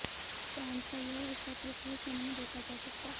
चांद का यह हिस्सा पृथ्वी से नहीं देखा जा सकता